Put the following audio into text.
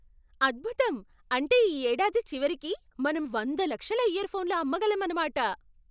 అద్భుతం! అంటే ఈ ఏడాది చివరికి మనం వంద లక్షల ఇయర్ఫోన్లు అమ్మగలమన్నమాట!